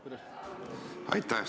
Aitäh!